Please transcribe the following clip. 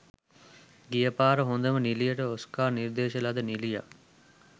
ගියපාර හොදම නිළියට ඔස්කා නිර්දේශ ලද නිළියක්